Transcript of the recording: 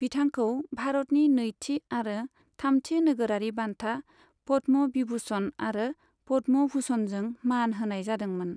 बिथांखौ भारतनि नैथि आरो थामथि नोगोरारि बान्था पद्म' भिभुषन आरो पद्म' भुषणजों मान होनाय जादोंमोन।